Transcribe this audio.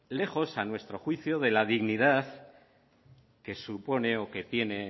lejos a nuestro juicio de la dignidad que supone o que tiene